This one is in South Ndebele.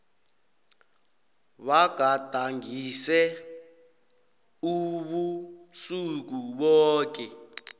bagadangise ubusuku boke